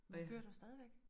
Kører du stadigvæk?